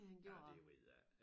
Ja det ved jeg ikke